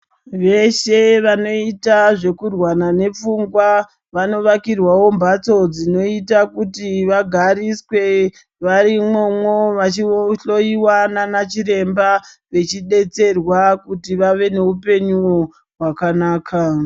Veshe vanoita zvekurwara nepfungwa vanovakirwawo mbatso dzinoita kuti vagariswe vari imomo vachihloiwa nanachiremba vachidetserwa kuti vawe nehupenyu hwakanaka.